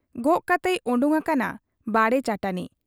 ᱜᱚᱜ ᱠᱟᱛᱮᱭ ᱚᱰᱚᱠ ᱟᱠᱟᱱᱟ ᱵᱟᱲᱮ ᱪᱟᱹᱴᱟᱹᱱᱤ ᱾